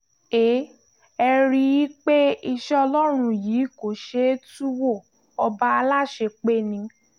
ẹ ẹ̀ rí i pé iṣẹ́ ọlọ́run yìí kò ṣeé tú wo ọba aláṣepé ni